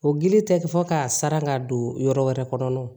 O gili tɛ kɛ fɔ k'a sara ka don yɔrɔ wɛrɛ kɔnɔna na wo